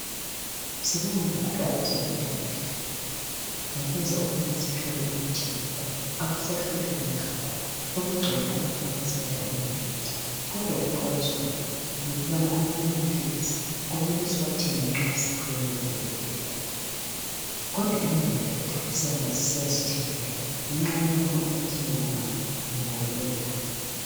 Sibonga kakhulu abezempilakahle ngokwenza ukubana sithole imithi lula. Akusahluphi kangako, sokugcwele ama pharmacy indawana yonke. Kodwa okuxwayiswayo yikubana amanye amaphilisi kumele siwathenge nxa siphiwe ngudokotela, kodwa iningi lethu sihamba sisiyazithengela ngenxa yokubana umakhelwane wam ngimbone elawo.